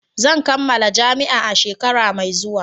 Zan kammala jami'a a shekara mai zuwa